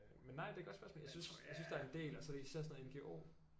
Men nej det er et godt spørgsmål jeg synes jeg synes der er en del altså især sådan noget NGO